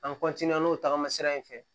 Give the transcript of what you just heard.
An n'o tagama sira in fɛ